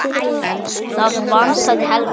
Það vantaði Helgu.